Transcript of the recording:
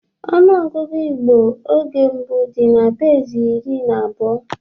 Ọnụọgụgụ Igbo oge mbụ dị na-besi iri na abuo